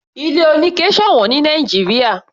Ilé oníke sọ̀wọ́n ní Nàìjíríà.